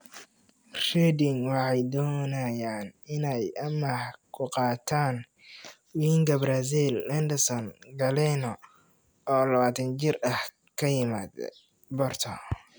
(Huddersfield Examiner) Reading waxay doonayaan inay amaah ku qaataan winga Brazil Wenderson Galeno, oo 21 jir ah, ka yimaada Porto.